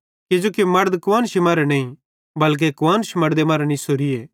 किजोकि मड़द कुआन्शी मरां नईं बल्के कुआन्श मड़दे मरां निसोरीए